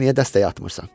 Sən niyə dəstək atmırsan?